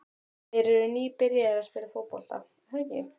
Þeir eru nýbyrjaðir að spila fótbolta, er það ekki?